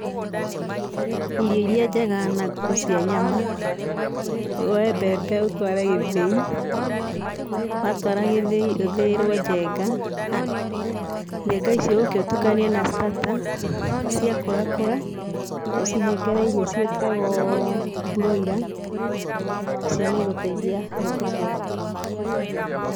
Irio iria njega na ngũkũ cia nyama, woe mbembe ũtware gĩthĩi. watwara gĩthĩi, ũthĩĩrwo njenga, njenga icio ũke ũtukanie na starter. Ciakũra kũra ũcihengera irio ciĩtagwo mburũira. Icio nĩ igũteithia ngũkũ ciaku.